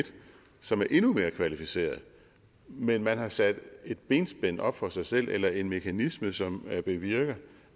som er endnu mere kvalificeret men man har sat et benspænd op for sig selv eller en mekanisme som bevirker